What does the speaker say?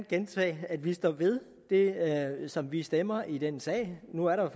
gentage at vi står ved det som vi stemmer i den sag nu er der